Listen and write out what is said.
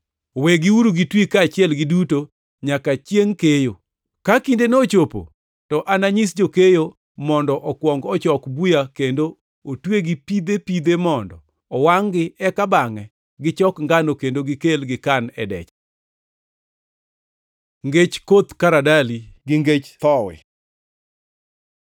Wegiuru gitwi kaachiel giduto nyaka chiengʼ keyo. Ka kindeno ochopo to ananyis jokeyo mondo okuong ochok buya kendo otwegi pidhe pidhe mondo owangʼ-gi; eka bangʼe gichok ngano kendo gikel gikan e decha.’ ” Ngech koth karadali gi ngech thowi